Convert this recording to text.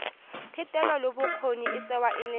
thetelelobokgoni e tsewa e le